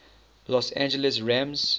los angeles rams